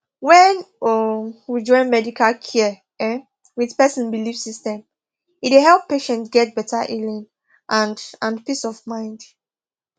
when um we join medical care um with person belief system e dey help patients get better healing and and peace of mind